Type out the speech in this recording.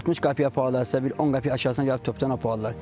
60 qəpiyə apardılarsa, bir 10 qəpiyə aşağısına gəlib topdan apardılar.